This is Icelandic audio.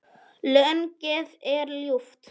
Lognið er ljúft.